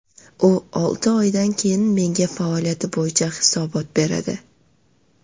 U olti oydan keyin menga faoliyati bo‘yicha hisobot beradi.